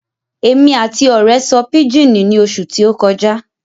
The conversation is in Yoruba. Èmi àti ọ̀rẹ́ sọ pijini ní oṣù tí ó kọjá